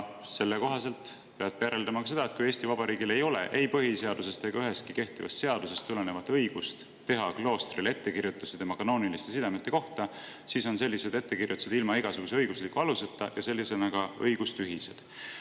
Selle kohaselt peab järeldama ka seda, et kui Eesti Vabariigil ei ole ei põhiseadusest ega ühestki kehtivast seadusest tulenevat õigust teha kloostrile ettekirjutusi tema kanooniliste sidemete kohta, siis on sellised ettekirjutused ilma igasuguse õigusliku aluseta ja sellisena ka õigustühised.